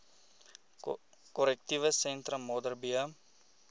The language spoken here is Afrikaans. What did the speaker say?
korrektiewe sentrum modderbee